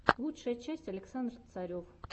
лучшая часть александр царев